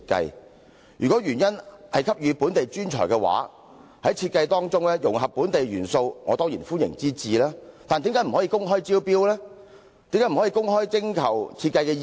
如政府的原意是給予本地專才機會，在設計當中融合本地元素，我當然歡迎之至，但為何不可以公開招標及徵求設計意念？